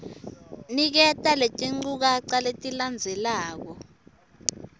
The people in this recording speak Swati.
niketa letinchukaca letilandzelako